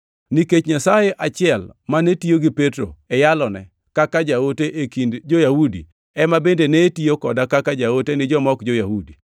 Nikech Nyasaye achiel mane tiyo gi Petro e yalone kaka jaote e kind jo-Yahudi ema bende ne tiyo koda kaka jaote ni joma ok jo-Yahudi.